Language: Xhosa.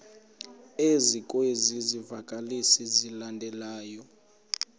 ezikwezi zivakalisi zilandelayo